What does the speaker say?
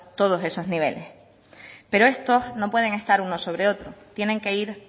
todos esos niveles pero estos no pueden estar unos sobre otros tienen que ir